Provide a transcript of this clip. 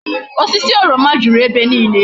Osisi oroma juru ebe niile